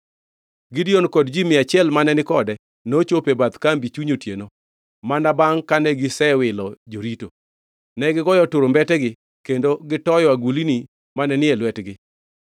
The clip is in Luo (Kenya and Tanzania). Gideon kod ji mia achiel mane ni kode nochopo e bath kambi chuny otieno, mana bangʼ kane gisewilo jorito. Negigoyo turumbetegi kendo gitoyo agulni mane ni e lwetegi.